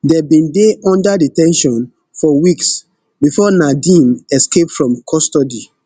dem bin dey under de ten tion for weeks before nadeem escape from custody